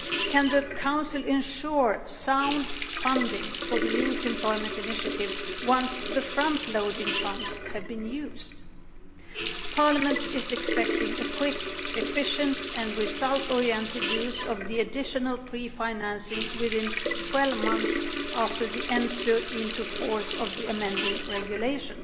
Can the Council ensure sound funding for the Youth Employment Initiative once the frontloading funds have been used? Parliament is expecting a quick, efficient and result oriented use of the additional pre financing within 12 months after the entry into force of the amending regulation.